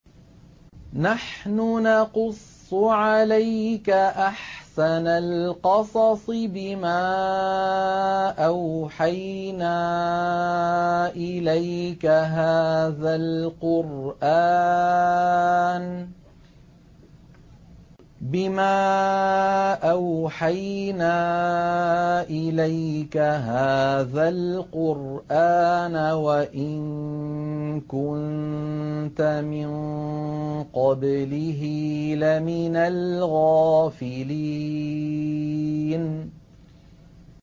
نَحْنُ نَقُصُّ عَلَيْكَ أَحْسَنَ الْقَصَصِ بِمَا أَوْحَيْنَا إِلَيْكَ هَٰذَا الْقُرْآنَ وَإِن كُنتَ مِن قَبْلِهِ لَمِنَ الْغَافِلِينَ